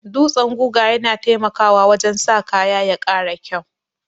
Dutsan guga yana taimakawa wajen sa kaya ya ƙara kyau.